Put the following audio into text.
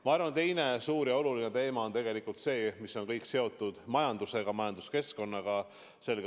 Ma arvan, et teine suur ja oluline teema on kõik see, mis on seotud majandusega, majanduskeskkonnaga.